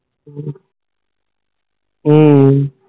ਹੱਮ